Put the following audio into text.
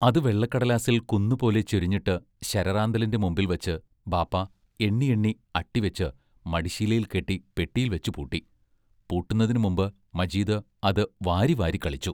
അത് വെള്ളക്കടലാസിൽ കുന്നുപോലെ ചൊരിഞ്ഞിട്ട് ശരറാന്തലിന്റെ മുമ്പിൽ വച്ച് ബാപ്പാ എണ്ണിയെണ്ണി അട്ടിവെച്ച് മടിശ്ശീലയിൽ കെട്ടി പെട്ടിയിൽ വെച്ചു പൂട്ടി; പൂട്ടുന്നതിനു മുമ്പ് മജീദ് അത് വാരിവാരിക്കളിച്ചു.